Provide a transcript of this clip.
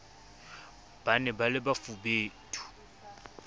ba ne ba le bafubedi